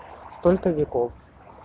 столько веков